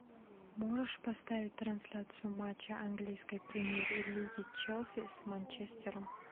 можешь поставить трансляцию матча английской премьер лиги челси с манчестером